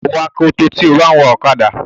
ó gbúdọ̀ wọ akoto tí o bá ń wa ọ̀kadà.